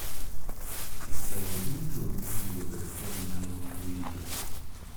jotelo duto onego bed kod nyalo mar winjo